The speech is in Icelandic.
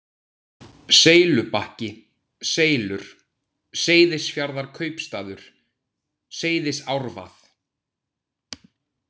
Seylubakki, Seylur, Seyðisfjarðarkaupstaður, Seyðisárvað